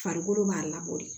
Farikolo b'a labɔ de